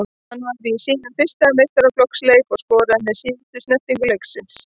Hann var í sínum fyrsta meistaraflokksleik og skoraði með síðustu snertingu leiksins.